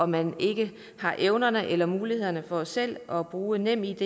man ikke har evner eller mulighed for selv at bruge nemid